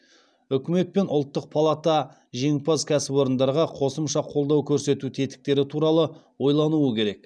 үкімет пен ұлттық палата жеңімпаз кәсіпорындарға қосымша қолдау көрсету тетіктері туралы ойлануы керек